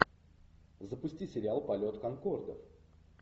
запусти сериал полет конкордов